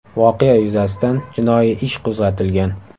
Voqea yuzasidan jinoiy ish qo‘zg‘atilgan.